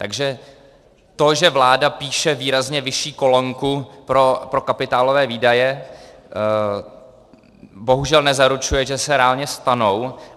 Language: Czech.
Takže to, že vláda píše výrazně vyšší kolonku pro kapitálové výdaje, bohužel nezaručuje, že se reálně stanou.